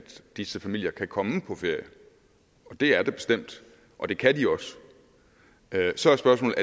disse familier kan komme på ferie det er det bestemt og det kan de også så er spørgsmålet